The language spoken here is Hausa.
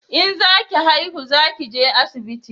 In za ki haihu za ki je asibiti